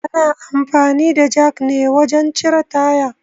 Ana amfani da jak ne wajen cire taya